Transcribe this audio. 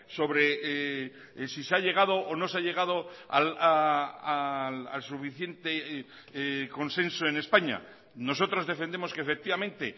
sobre si se ha llegado o no se ha llegado al suficiente consenso en españa nosotros defendemos que efectivamente